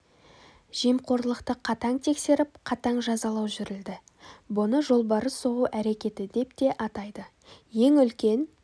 жемқорлықты қатаң тексеріп қатаң жазалау жүрілді бұны жолбарыс соғу әрекеті деп те атайды ең үлкен